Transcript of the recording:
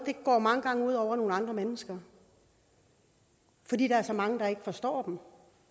går mange gange ud over nogle andre mennesker fordi der er så mange der ikke forstår dem